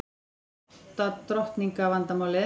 Átta drottninga vandamálið